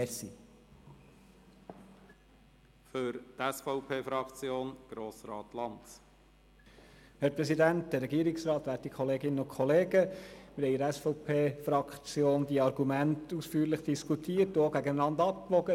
In der SVP-Fraktion haben wir den Antrag ausführlich diskutiert und die Argumente, die auf dem Tisch liegen, gegeneinander abgewogen.